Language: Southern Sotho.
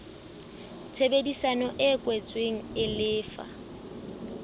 tshebedisano e kwetsweng e lefa